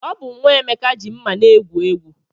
Ọ bụ nwa Emeka ji mma na-egwu egwu.